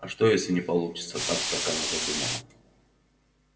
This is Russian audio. а что если не получится так как она задумала